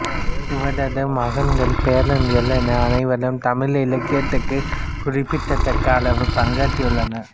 இவரது மகன்கள் பேரன்கள் என அனைவரும் தமிழ் இலக்கியத்திற்குக் குறிப்பிடத்தக்க அளவில் பங்காற்றியுள்ளனர்